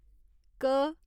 क